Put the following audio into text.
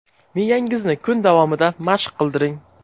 Miyangizni kun davomida mashq qildiring.